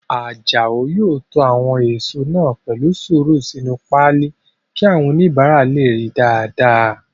Àjàó yóò to àwọn èèso náà pẹ̀lú sùúrù sínu páálí kí àwọn oníbàárà lè ríi dáadáa